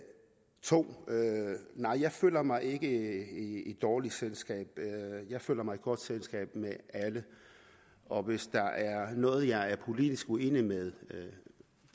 2 nej jeg føler mig ikke i dårligt selskab jeg føler mig i godt selskab med alle og hvis der er noget jeg er politisk uenig med